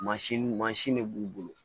Mansin mansin de b'u bolo